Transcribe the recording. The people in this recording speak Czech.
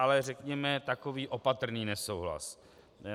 Ale řekněme, takový opatrný nesouhlas.